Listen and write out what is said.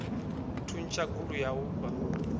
thuntsha gulu ya u fha